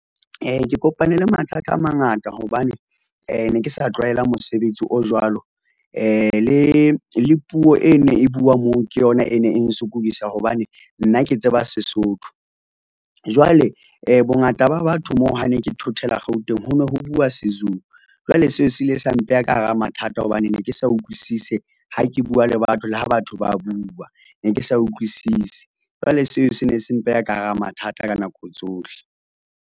Ke kopane le mathata a mangata hobane ne ke sa tlwaela mosebetsi o jwalo le puo e ne e bua moo, ke yona e ne e nsokodisa hobane nna ke tseba Sesotho. Jwale bongata ba batho moo ha ne ke thothela Gauteng ho no ho bua seZulu. Jwale seo se ile sa mpeha ka hara mathata hobane ne ke sa utlwisise ha ke bua le batho le ha batho ba bua, ne ke sa utlwisisi, jwale seo se ne se mpeha ka hara mathata ka nako tsohle.